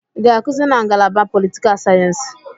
I ga-akụzi na ngalaba politikal sayensị?